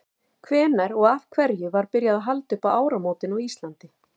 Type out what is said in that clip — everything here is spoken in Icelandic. hvenær og af hverju var byrjað að halda upp á áramótin á íslandi